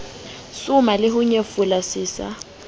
soma leho nyefola se sa